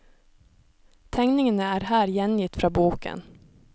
Tegningene er her gjengitt fra boken.